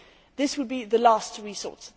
This would be the last resort.